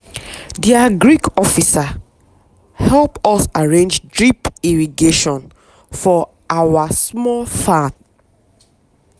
the agric officer help us arrange drip irrigation for our small farm.